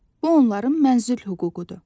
Bu onların mənzil hüququdur.